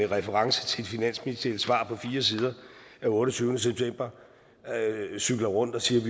reference til finansministeriets svar på fire sider af otteogtyvende september cykler rundt og siger at